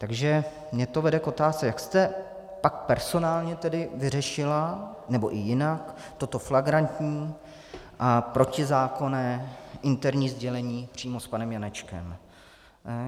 Takže mě to vede k otázce: Jak jste pak personálně tedy vyřešila, nebo i jinak, toto flagrantní a protizákonné interní sdělení přímo s panem Janečkem?